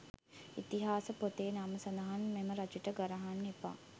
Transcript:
ඉතිහාස පොතේ නම සදහන් මෙම රජුට ගරහන්න එපා.